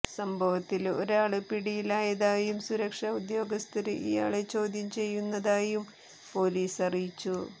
സംഭവത്തില് ഒരാള് പിടിയിലായതായും സുരക്ഷാ ഉദ്യോഗസ്ഥര് ഇയാളെ ചോദ്യം ചെയ്യുന്നതായും പോലീസ് അറിയിച്ചു